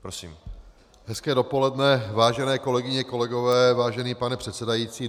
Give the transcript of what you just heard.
Hezké dopoledne, vážené kolegyně, kolegové, vážený pane předsedající.